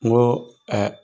Ŋoo